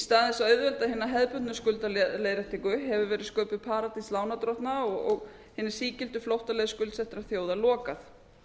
stað þess að auðvelda hina hefðbundnu skuldaleiðréttingu hefur verið sköpuð paradís lánardrottna og hina sígildu flóttaleið skuldsettra þjóða lokað